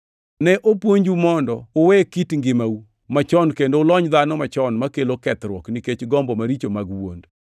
Ne opuonju mondo uwe kit ngimau machon kendo ulony dhano machon makelo kethruok nikech gombo maricho mag wuond.